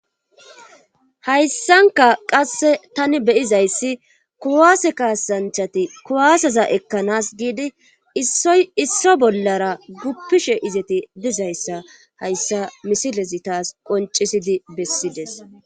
Hayssanka qasse tani beyizayssi kuwaase kaasanchati kuwaasaza ekkanas giidi iisso bollara guppishe izeti dizayssa hayssa misilezi taas qoncisidi bessides.